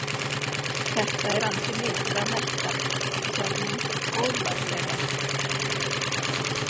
Þetta er ansi mikið að melta, sagði hún góðlátlega.